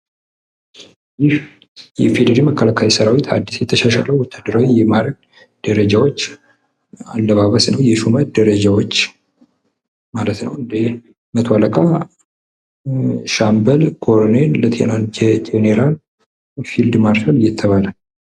ይህ የኢፌደሪ ህግ መከላከያ ሰራዊቶች አድስ የተሻሻለው የወታደር ማዐረግ ነው። ጀኔራል፣ አስር አለቃ ፊልድ ማርሻል አየተባለ የሚከፈል ነው።